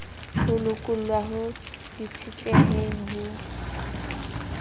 ho lokollwa ho itshetleheng ho